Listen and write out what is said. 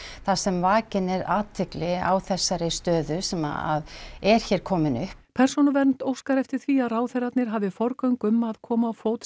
þar sem vakin er athygli á þessari stöðu sem er hér komin upp persónuvernd óskar eftir því að ráðherrarnir hafi forgöngu um að koma á fót